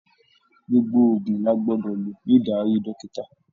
Gbogbo òògùn lá gbọdọ lò ní ìdarí dókítà.